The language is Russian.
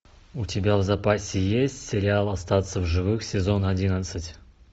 у тебя в запасе есть сериал остаться в живых сезон одиннадцать